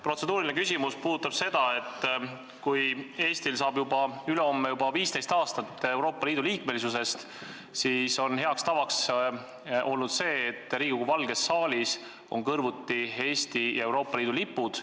Protseduuriline küsimus puudutab seda, et ülehomme täitub juba 15 aastat Eesti Euroopa Liidu liikmeks saamisest ja hea tava on olnud see, et Riigikogu valges saalis on kõrvuti Eesti ja Euroopa Liidu lipud.